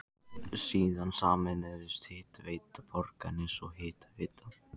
Síðan sameinuðust Hitaveita Borgarness og Hitaveita